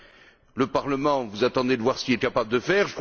Quant au Parlement, vous attendez de voir ce qu'il est capable de faire.